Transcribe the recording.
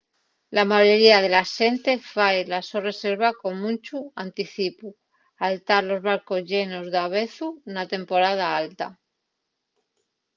la mayoría de la xente fai la so reserva con munchu anticipu al tar los barcos llenos davezu na temporada alta